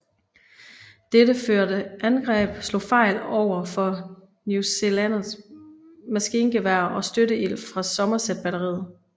Dette første angreb slog fejl overfor newzealændernes maskingeværer og støtteild fra Somerset batteriet